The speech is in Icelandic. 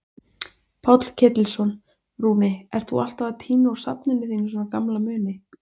Páll Ketilsson: Rúni, ert þú alltaf að tína úr safninu þínu svona gamla muni?